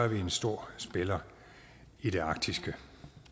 vi en stor spiller i det arktiske